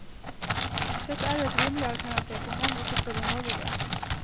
Dette er jo et rimelig alternativ, om enn ikke så behagelig.